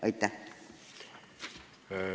Aitäh!